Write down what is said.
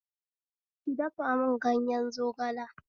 Ki dafa mun ganye zogala